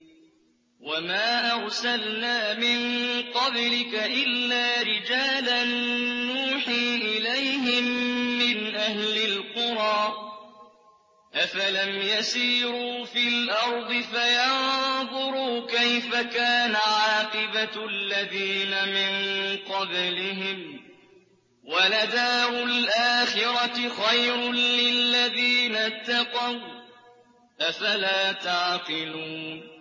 وَمَا أَرْسَلْنَا مِن قَبْلِكَ إِلَّا رِجَالًا نُّوحِي إِلَيْهِم مِّنْ أَهْلِ الْقُرَىٰ ۗ أَفَلَمْ يَسِيرُوا فِي الْأَرْضِ فَيَنظُرُوا كَيْفَ كَانَ عَاقِبَةُ الَّذِينَ مِن قَبْلِهِمْ ۗ وَلَدَارُ الْآخِرَةِ خَيْرٌ لِّلَّذِينَ اتَّقَوْا ۗ أَفَلَا تَعْقِلُونَ